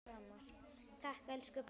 Takk elsku pabbi minn.